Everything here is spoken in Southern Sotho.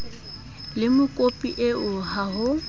le mokopi eo ha ho